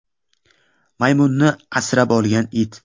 Maymunni asrab olgan it.